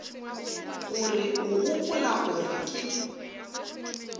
gore o gopola gore ke